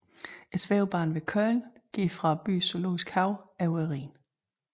Svævebanen ved Köln går fra byens zoologiske have over Rhinen